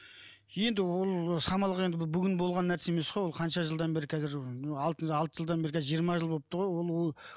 енді ол саналық енді бүгін болған нәрсе емес қой ол қанша жылдан бері қазір алты жылдан бері қазір жиырма жыл болыпты ғой ол ол